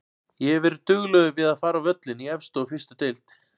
Ég hef verið duglegur við að fara á völlinn í efstu og fyrstu deild.